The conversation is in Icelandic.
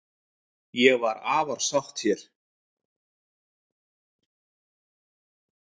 Ég var afar sátt hér.